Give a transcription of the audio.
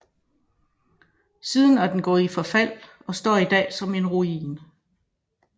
Siden er den gået i forfald og står i dag som en ruin